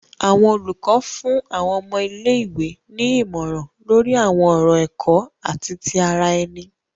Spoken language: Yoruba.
Awọn olùkọ fún àwọn ọmọ ilé-ìwé ní ìmọràn lori awọn ọrọ ẹkọ ati ti ara ẹni.